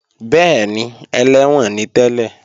Bẹ́ẹ̀ni, ẹlẹ́wọ̀n ni tẹ́lẹ̀